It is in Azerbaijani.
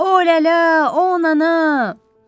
O lələ, o anana.